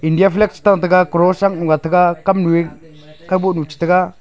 India flag chatan taga cross am ga taga kam nu e kaga boh nu cha taga.